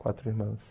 Quatro irmãs.